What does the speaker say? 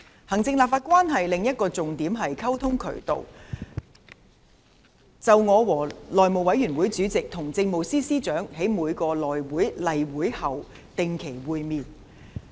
行政立法關係的另一個重要溝通渠道，是我和內務委員會副主席與政務司司長在每次內務委員會例會後的定期會面。